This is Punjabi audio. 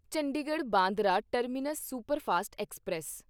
Chandigarh Bandra terminus superfast express